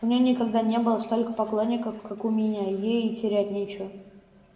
у неё никогда не было столько поклонников как у меня ей терять нечего